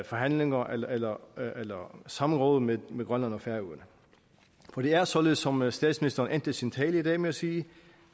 forhandlinger eller samråd med med grønland og færøerne for det er således som statsministeren endte sin tale i dag med at sige